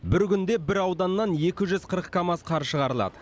бір күнде бір ауданнан екі жүз қырық камаз қар шығарылады